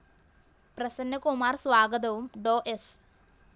പ്രസന്നകുമാര്‍ സ്വാഗതവും ഡോ സ്‌